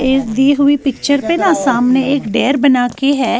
.ایک اس دی ہی پی نہ سامنے ایک ڈیر بناکے ہیں